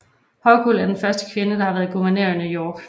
Hochul er den første kvinde der har været guvernør i New York